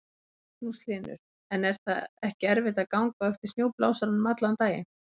Magnús Hlynur: En er það ekki erfitt að ganga á eftir snjóblásaranum allan daginn?